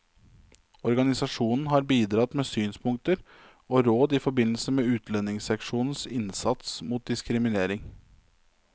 Organisasjonen har bidratt med synspunkter og råd i forbindelse med utlendingsseksjonens innsats mot diskriminering.